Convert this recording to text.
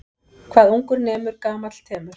Hvað ungur nemur gamall temur.